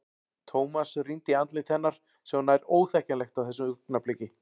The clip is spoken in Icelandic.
Thomas rýndi í andlit hennar sem var nær óþekkjanlegt á þessu augnabliki.